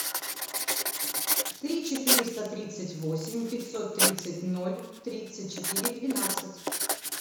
три четыреста тридцать восемь пятьсот тридцать ноль тридцать четыре двенадцать